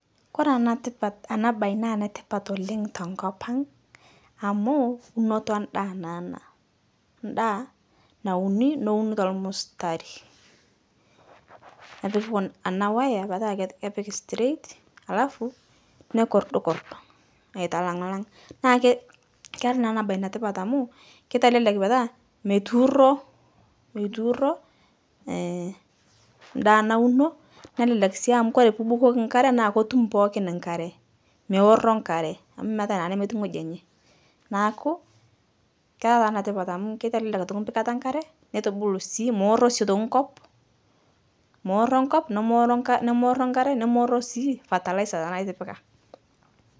Kore anatipat ana baye naa netipat oleng' te ngopang' amu, unoto endaa naa ana, ndaa nauni nouni te lmustari, nepiki kun ana wire petaa ke kepiki straight alafu nekordkord, aitalang'lang'. Naa ke kera naa ana baye netipat amu keitelelek petaa meituuro, meituuro eeh ndaa nauno nelelek sii amu kore puubukoki nkare naa kotum pookin nkare, meorro nkare amu meatae naa nemeti ng'oji enye, naaku, kera taa netipat amu keitelelek mpikata enkare netubulu sii mooro sii aitoki nkop, mooro nkop, nemooro nkar, nemooro nkare, nemooro sii fertilizer tanaa itipika